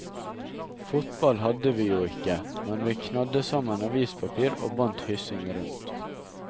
Fotball hadde vi jo ikke, men vi knadde sammen avispapir og bandt hyssing rundt.